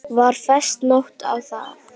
Var fest nót á þá.